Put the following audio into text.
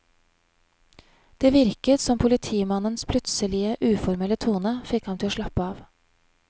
Det virket som politimannens plutselige uformelle tone fikk ham til å slappe av.